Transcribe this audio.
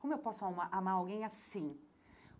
Como eu posso amar amar alguém assim?